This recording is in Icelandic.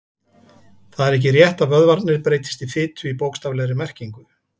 Það er ekki rétt að vöðvarnir breytist í fitu í bókstaflegri merkingu.